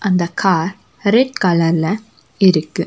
அந்த car red கலர்ல இருக்கு.